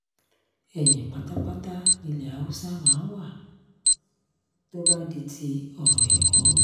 ẹ̀yin pátápátá nilẹ̀ haúsá máa ń wá tó bá di ti ọ̀rọ̀ ẹ̀kọ́